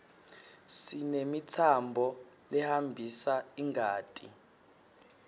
sinemitsambo lehambisa ingati